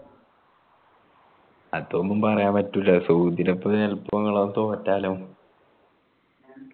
അതപ്പോ പറയാനാപറ്റൂലാ സൗദിടെയൊപ്പോ ചെലപ്പോ ഇങ്ങള തോറ്റാലോ